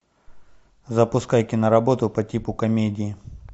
запускай киноработу по типу комедии